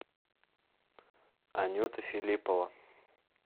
анюта филиппова